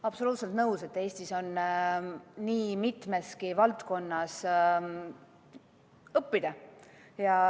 Absoluutselt nõus, et Eestis on nii mitmestki valdkonnast õppida.